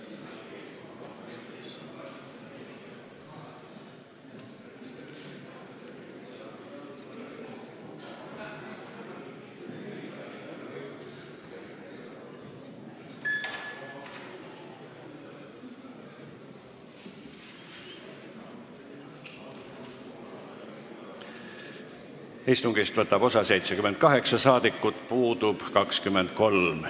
Kohaloleku kontroll Istungist võtab osa 78 rahvasaadikut, puudub 23.